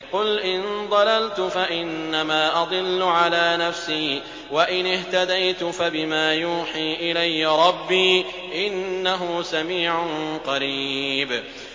قُلْ إِن ضَلَلْتُ فَإِنَّمَا أَضِلُّ عَلَىٰ نَفْسِي ۖ وَإِنِ اهْتَدَيْتُ فَبِمَا يُوحِي إِلَيَّ رَبِّي ۚ إِنَّهُ سَمِيعٌ قَرِيبٌ